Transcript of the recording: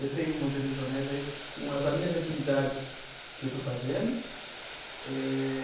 Eu tenho um modelo de jornais aí com as minhas atividades que eu estou fazendo. É...